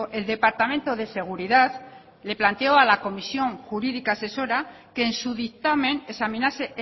el departamento de seguridad le planteó a la comisión jurídica asesora que en su dictamen examinase